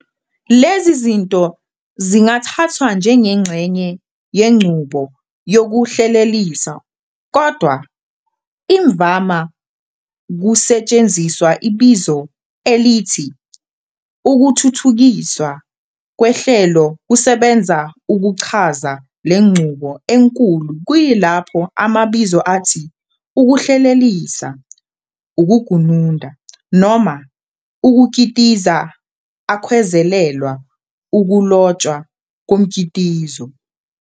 Lezi zinto zingathathwa njengengxenye yenqubo yokuhlelelisa, Kodwa imvama kusetshenziswa ibizo elithi ukuthuthukiswa kwehlelokusebenza ukuchaza lenqubo enkulu kuyilapho amabizo athi ukuhlelelisa, ukugununda, noma ukukitiza akhwezelelwa ukulotshwa komkitizo.